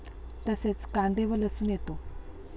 तसेच, कांदे व लसूण येतो.